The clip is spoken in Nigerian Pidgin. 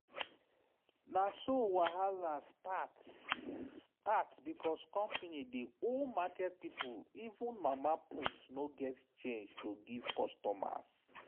na so wahala start. start. because company dey owe market people even mama put no get change to give customers.